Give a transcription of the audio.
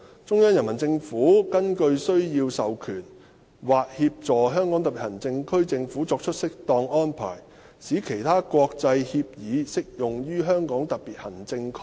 中央人民政府根據需要授權或協助香港特別行政區政府作出適當安排，使其他有關國際協議適用於香港特別行政區。